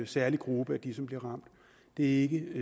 særlig gruppe af dem som bliver ramt det er ikke